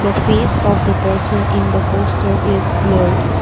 the face of the person in the poster is blurred.